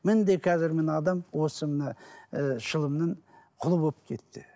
қазір міне адам осы мына ыыы шылымның құлы болып кетті